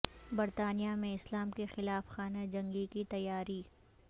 برطانیہ میں اسلام کے خلاف خانہ جنگی کی تیاری